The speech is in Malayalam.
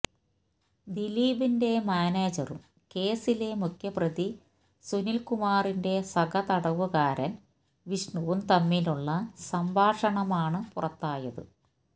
ദിലീപിന്റെ മാനേജറും കേസിലെ മുഖ്യമപ്രതി സുനില്കുമാറിന്റെ സഹതടവുകാരന് വിഷ്ണുവും തമ്മിലുള്ള സംഭാഷണമാണ് പുറത്തായത്